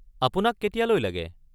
আপোনাক কেতিয়ালৈ লাগে?